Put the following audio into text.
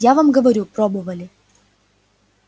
я вам говорю пробовали